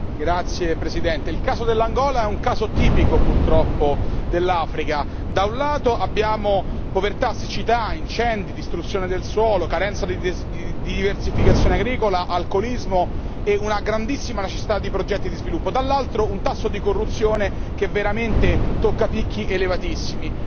Signor Presidente, onorevoli colleghi, il caso dell'Angola è un caso tipico, purtroppo, dell'Africa da un lato, abbiamo povertà, siccità, incendi, distruzione del suolo, carenza di diversificazione agricola, alcolismo e una grandissima necessità di progetti di sviluppo, dall'altro un tasso di corruzione che veramente tocca picchi elevatissimi.